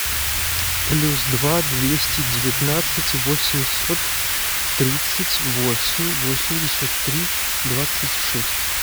плюс два двести девятнадцать восемьсот тридцать восемь восемьдесят три двадцать шесть